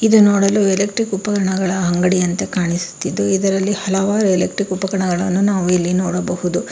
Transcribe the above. ಇದು ನೋಡಲು ಎಲೆಕ್ಟ್ರಿಕ್ ಉಪಕರಣಗಳ ಅಂಗಡಿಯಂತೆ ಕಾಣಿಸುತಿದ್ದು ಇದರಲ್ಲಿ ಹಲವಾರು ಎಲೆಕ್ಟ್ರಿಕ್ ಉಪಕರಗಳನು ನಾವು ಇಲ್ಲಿ ನೋಡಬಹುದು.